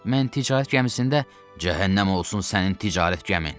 Mən ticarət gəmisində cəhənnəm olsun sənin ticarət gəmin.